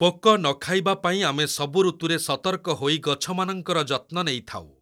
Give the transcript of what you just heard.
ପୋକ ନଖାଇବା ପାଇଁ ଆମେ ସବୁ ଋତୁରେ ସତର୍କ ହୋଇ ଗଛମାନଙ୍କର ଯତ୍ନ ନେଇଥାଉ ।